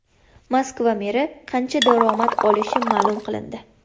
Moskva meri qancha daromad olishi ma’lum qilindi.